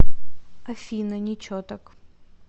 афина ниче так